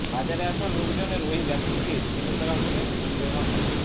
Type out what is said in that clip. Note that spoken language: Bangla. বাজারে আসা লোকজনের ওই ব্যক্তিকে ছেলেধরা বলে সন্দেহ হয়